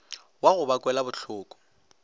wa go ba kwela bohloko